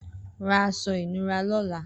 Rà aṣọ inùrá lọ̀lá